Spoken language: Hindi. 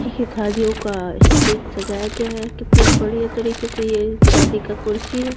देखिये शादियों का स्टेज सजाया गया है कितने बढ़ियां तरीको से। ये शादी का कुर्सी है।